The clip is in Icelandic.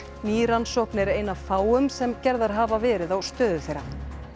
ný rannsókn er ein af fáum sem gerðar hafa verið á stöðu þeirra